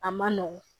A man nɔgɔn